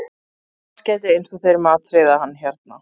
Hnossgæti eins og þeir matreiða hann hérna